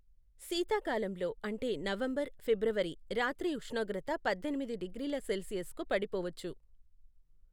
శీతాకాలంలో అంటే నవంబర్, ఫిబ్రవరి రాత్రి ఉష్ణోగ్రత పద్దెనిమిది డిగ్రీల సెల్సియస్కు పడిపోవచ్చు.